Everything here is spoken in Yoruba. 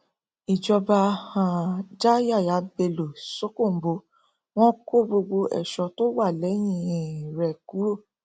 ìjọba um já yàyà bello ṣókóǹbó wọn kó gbogbo èso tó wà lẹyìn um rẹ kúrò